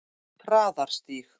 Traðarstíg